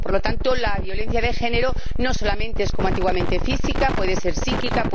Por lo tanto, la violencia de género no solamente es, como antiguamente, física puede ser psíquica